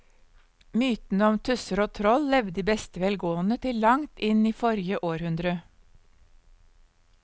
Mytene om tusser og troll levde i beste velgående til langt inn i forrige århundre.